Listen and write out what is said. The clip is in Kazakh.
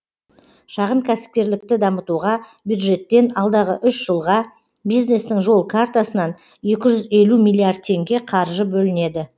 шағын кәсіпкерлікті дамытуға бюджеттен алдағы үш жылға бизнестің жол картасынан екі жүз елу миллиард теңге қаржы бөлінеді